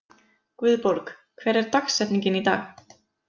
Guðborg, hver er dagsetningin í dag?